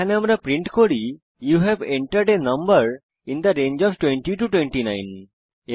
এখানে আমরা প্রিন্ট করি you have entered a number in the range of 20 29